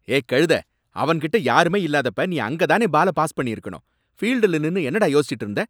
ஏய் கழுத! அவன்கிட்ட யாருமே இல்லாதப்ப நீ அங்கதானே பால பாஸ் பண்ணி இருக்கணும். ஃபீல்டுல நின்னு என்னடா யோசிச்சிட்டு இருந்த?